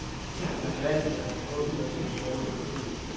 Man skal altid passe på med sine sproglige billeder.